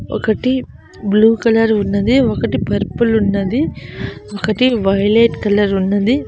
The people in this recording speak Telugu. ఒకటి బ్లూ కలర్ ఉన్నది ఒకటి పర్పుల్ ఉన్నది ఒకటీ వైలెట్ కలర్ ఉన్నది.